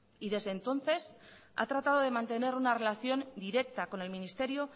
y desde entonces ha tratado de mantener una relación directa con el ministerio